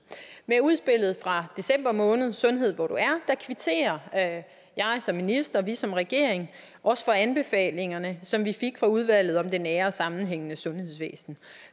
med udspillet fra december måned sundhed hvor du er kvitterer jeg som minister og vi som regering også for anbefalingerne som vi fik fra udvalget om det nære og sammenhængende sundhedsvæsen